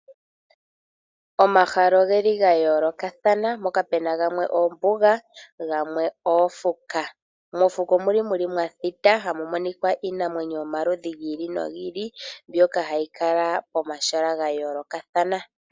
Omahala ogeli ga yoolokathana, moka pena gamwe oombuga oomakuti. Mokuti omuli mwathita hamu monika iinamwenyo yomaludhi gi ili nogi ili mbyoka hayi kala pomahala ga yoolokathana.